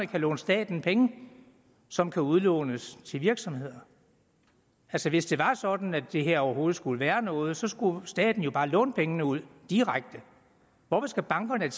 kan låne staten penge som kan udlånes til virksomheder altså hvis det var sådan at det her overhovedet skulle være noget så skulle staten jo bare låne pengene ud direkte hvorfor skal bankerne